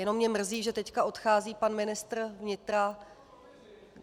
Jenom mě mrzí, že teď odchází pan ministr vnitra...